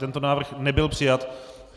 Tento návrh nebyl přijat.